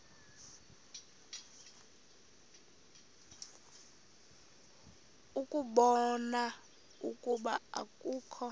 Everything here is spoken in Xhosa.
ukubona ukuba akukho